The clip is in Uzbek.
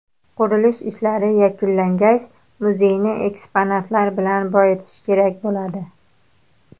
Qurilish ishlari yakunlangach, muzeyni eksponatlar bilan boyitish kerak bo‘ladi.